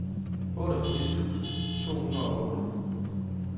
otteogfirs tusind to hundrede og otte